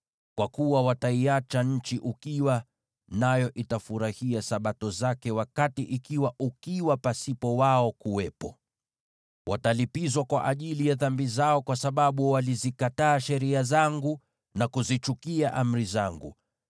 Kwa kuwa wataiacha nchi ukiwa, nayo itafurahia Sabato zake wakati itakuwa ukiwa bila wao. Wataadhibiwa kwa ajili ya dhambi zao, kwa sababu walizikataa sheria zangu na kuzichukia amri zangu.